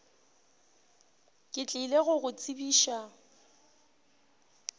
ke tlile go go tsebiša